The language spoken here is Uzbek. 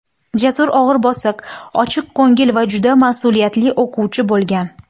Jasur og‘ir-bosiq, ochiqko‘ngil va juda mas’uliyatli o‘quvchi bo‘lgan.